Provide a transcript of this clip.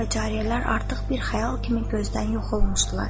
Kənizlər və cariyələr artıq bir xəyal kimi gözdən yox olmuşdular.